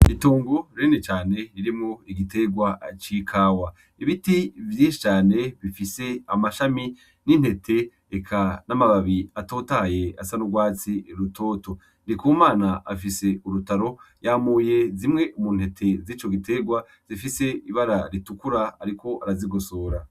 Itongo rinini cane ririmwo igiterwa c'ikawa ibiti vyinshi cane bifise amashami n'intete eka n'amababi atotahaye asa nurwatsi rutoto Ndikumana afise urutaro yamuye zimwe mu ntete zico giterwa zifise ibara ritukura ariko arazigosora.